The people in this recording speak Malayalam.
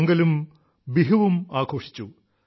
പൊങ്കലും ബിഹുവും ആഘോഷിച്ചു